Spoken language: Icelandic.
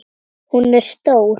Hún er stór.